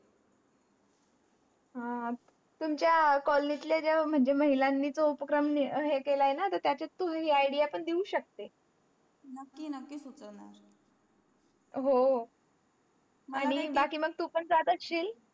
हा पण त्या कॉलोनीत जे माझे ममहिलांची तोच उपक्रम हे कीलंय ना तर त्याच्यात तू हे idea पण देऊच शकते नाकी नाकी सुचवणार हो बाकी मंग तू पण जात अशील